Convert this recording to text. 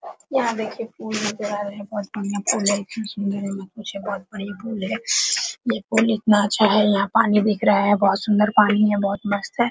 यहाँ देखिए पुल नजर आ रहे हैं बहुत बढ़िया पुल है इतना सुंदर है की पूछिए मत बहुत बढ़िया पुल है ये पुल इतना अच्छा है यहाँ पानी दिख रहा है बहुत सुंदर पानी है बहुत मस्त है।